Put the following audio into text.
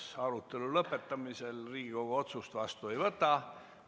Arutelu lõppemisel Riigikogu otsust vastu ei võta.